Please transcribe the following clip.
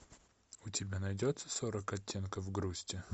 у тебя найдется сорок оттенков грусти